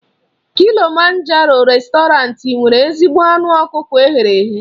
Kilịmanjaroo réstọranti nwere ezigbo anụ ọkụkọ eghere eghe.